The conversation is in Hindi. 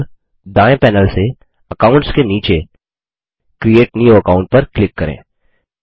अब दायें पैनल से अकाउंट्स के नीचे क्रिएट न्यू अकाउंट पर क्लिक करें